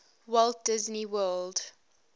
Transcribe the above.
walt disney world